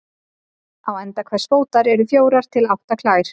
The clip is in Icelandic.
Á enda hvers fótar eru fjórar til átta klær.